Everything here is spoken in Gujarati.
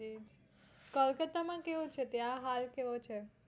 કલકતા માં કેવું છે ત્યાં હાલ કેવો છે?